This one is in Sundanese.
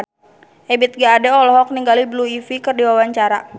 Ebith G. Ade olohok ningali Blue Ivy keur diwawancara